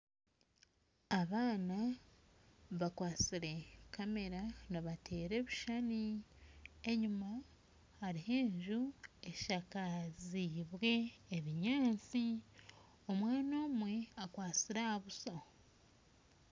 Abaana bakwatsire kamera nibateera ebishushani enyuma hariyo enju eshakaziibwe ebinyatsi omwana omwe akwatsire ahabuso